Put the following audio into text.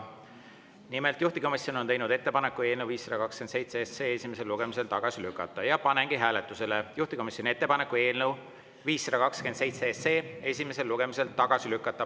Nimelt, juhtivkomisjon on teinud ettepaneku eelnõu 527 esimesel lugemisel tagasi lükata ja panengi hääletusele juhtivkomisjoni ettepaneku eelnõu 527 esimesel lugemisel tagasi lükata.